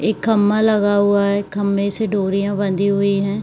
एक खंभा लगा हुआ है खम्बे से डोरियां बाँधी हुई हैं।